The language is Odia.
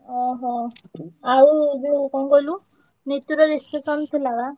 ଓହୋ, ଆଉ ଯୋଉ କଣ କହିଲୁ ନିତୁର reception ଥିଲା ବା।